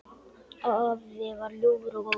Afi var ljúfur og góður.